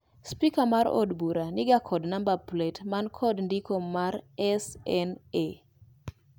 Spika mar od bura niga kod namaba plet man kod ndiko mar SNA